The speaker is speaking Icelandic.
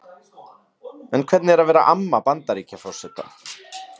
En hvernig er að vera amma Bandaríkjaforseta?